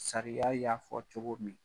Sariya y'a fɔ cogo min.